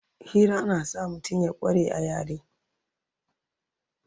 Hira na sa mutum ya kware a yare